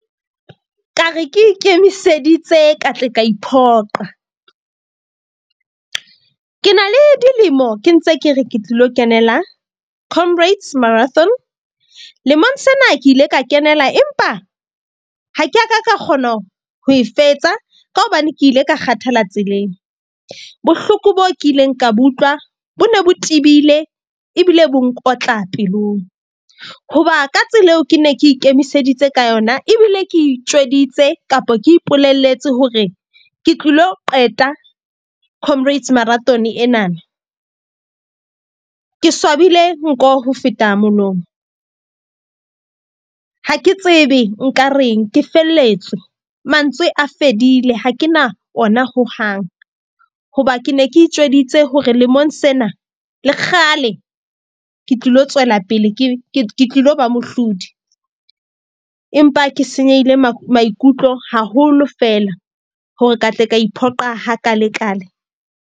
Ka re ke ikemiseditse ka tle ka iphoqa. Ke na le dilemo ke ntse ke re ke tlilo kenela comrades marathon. Lemong sena ke ile ka kenela, empa ha ke a ka ka kgona ho e fetsa, ka hobane ke ile ka kgathala tseleng. Bohloko boo ke ileng ka bo utlwa bo ne bo tebile ebile bo nkotla pelong. Hoba ka tsela eo ke ne ke ikemiseditse ka yona ebile ke itjweditse kapa ke ipolelletse hore ke tlilo qeta comrades marathon enana. Ke swabile nko ho feta molomo. Ha ke tsebe nka reng ke felletswe, mantswe a fedile ha ke na ona ho hang. Hoba ke ne ke itjweditse hore lemong sena le kgale, ke tlilo tswela pele, ke tlilo ba mohlodi. Empa ke senyehile maikutlo haholo fela, hore ka tle ka iphoqa ha kaale kaale.